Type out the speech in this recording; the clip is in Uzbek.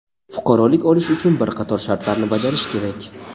fuqarolik olish uchun bir qator shartlarni bajarish kerak.